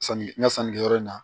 Sanni n ka sanni kɛyɔrɔ in na